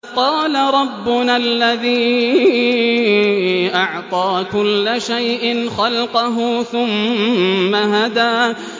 قَالَ رَبُّنَا الَّذِي أَعْطَىٰ كُلَّ شَيْءٍ خَلْقَهُ ثُمَّ هَدَىٰ